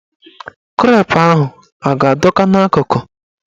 Krep ahụ a ga-adọ ka n'akụkụ?